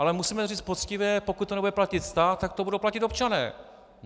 Ale musíme říct poctivě, pokud to nebude platit stát, tak to budou platit občané.